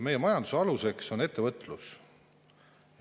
Majanduse aluseks on ettevõtlus.